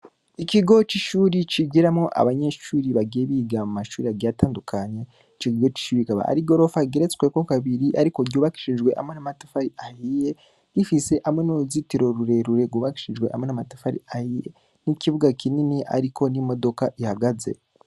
Ikigo c'ishuri cigiramwo abnyeshuri biga mu mashuri agiye atandukanye. Ico kigo c'ishuri kikaba ari igorofa igeretsweko kabiri ikaba irimwo n'amatafari ahiye gifise hamwe n'uruzitiro rurerure rwubakishije hamwe n'amatafari ahiye. Ikibuga kinini hariko n'imodoka ihagaze.